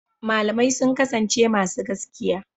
Malamai sun kasance masu gaskiya.